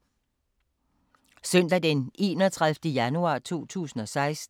Søndag d. 31. januar 2016